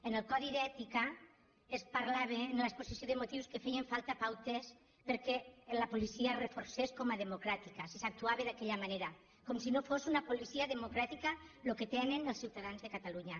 en el codi d’ètica es parlava en l’exposició de motius que feien falta pautes perquè la policia es reforcés com a democràtica si s’actuava d’aquella manera com si no fos una policia democràtica el que tenen els ciutadans de catalunya